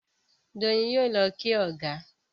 Doyin yóò ló kí ọgá.